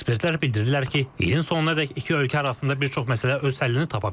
Ekspertlər bildirirlər ki, ilin sonunadək iki ölkə arasında bir çox məsələ öz həllini tapa bilər.